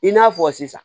I n'a fɔ sisan